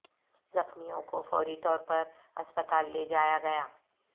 زخمیوں کو فوری طور پر ہسپتال لے جایا گیا